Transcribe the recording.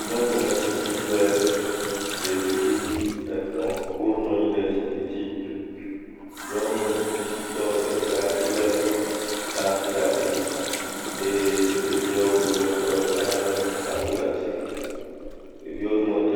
Nyɔnumetsitsi kple ɖevi etɔ̃wo nɔ anyi ɖe zikpui dzi, nyɔnu tsitsitɔ ɖeka le saŋku ɖe asi eye ɖeviawo domete.